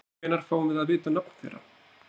Hvenær fáum við að vita nöfn þeirra?